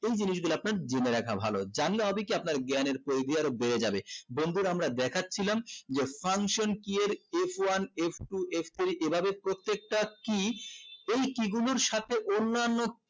এই জিনিস গুলা আপনার জিম্মা রাখা ভালো জানলে হবে কি আপনার জ্ঞানের পরিধি আরো বেড়ে যাবে বন্ধুরা আমরা দেখাচ্ছিলাম যে function key এর f one f two f three এভাবে প্রত্যেকটা key এই key গুলোর সাথে অন্যান্য